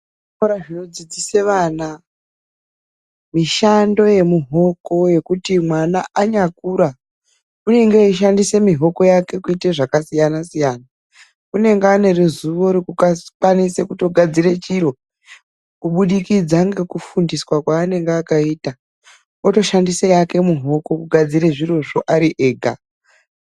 Muzvikora zvinodzidzisa vana, mishando yemihoko yekuti mwana anyakura unenge eishandisa mihoko yake kuite zvakasiyana-siyana. Unenge ane ruzivo rwekukwanise kunasira chiro, kubudikidza ngekufundiswa kweanenge akaitwa. Otoshandise yake mihoko kugadzire zvirozvo ari ega.